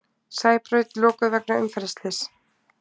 Sæbraut lokuð vegna umferðarslyss